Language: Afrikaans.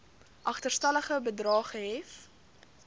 agterstallige bedrae gehef